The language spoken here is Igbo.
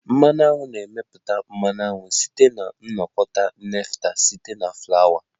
Mmanụ aṅu na-emepụta mmanụ aṅụ site na ịnakọta nectar site na Flawa